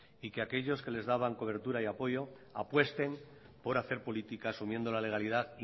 y que aquellos que les daban cobertura y apoyo apuesten por hacer políticas asumiendo la legalidad